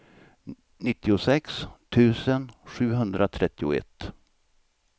nittiosex tusen sjuhundratrettioett